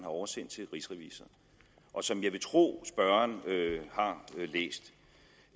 oversendt til rigsrevisor og som jeg vil tro at spørgeren har læst